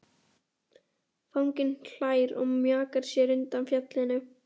Fanginn hlær og mjakar sér undan fjallinu.